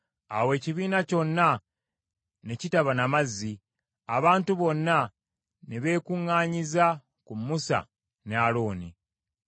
Awo ekibiina kyonna ne kitaba na mazzi. Abantu bonna ne beekuŋŋanyiza ku Musa ne Alooni.